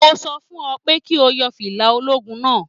Mo sọ fún ọ pé kí o yọ fìlà ológun náà